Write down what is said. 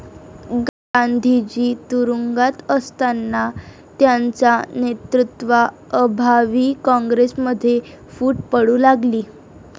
गांधीजी तुरूंगात असतांना त्यांचा नेतृत्वा अभावी काँग्रेसमध्ये फूट पडू लागली